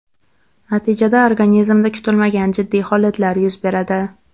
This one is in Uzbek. Natijada organizmda kutilmagan jiddiy holatlar yuz beradi.